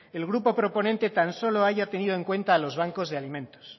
el grupo proponente tan solo haya tenido en cuenta a los bancos de alimentos